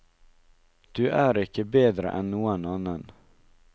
Du er ikke bedre enn noen annen.